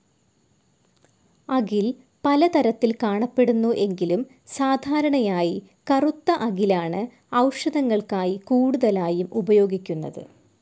അകിൽ പലതരത്തിൽ കാണപ്പെടുന്നു എങ്കിലും, സാധാരണയായി കറുത്ത അകിലാണ്‌ ഔഷധങ്ങൾക്കായി കൂടുതലായും ഉപയോഗിക്കുന്നത്.